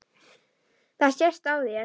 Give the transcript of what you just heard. Það sést á þér